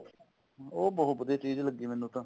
ਉਹ ਬਹੁਤ ਵਧੀਆ ਚੀਜ ਲੱਗੀ ਮੈਨੂੰ ਤਾਂ